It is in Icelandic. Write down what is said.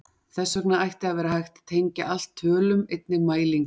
Þess vegna ætti að vera hægt að tengja allt tölum, einnig mælingar.